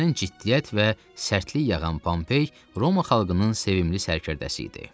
Üzündən ciddiyyət və sərtlik yağan Pompey Roma xalqının sevimli sərkərdəsi idi.